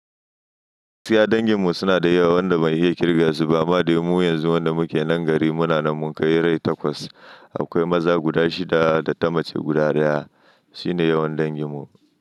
Gaskiya dangin mu suna da yawa wanda ban iya kirge su ba. Amma dai mu yanzu wanda muke nan gari muna nan mun kai rai takwas. Akwai maza guda shida da ta mace guda daya. Shine yawan dangin mu.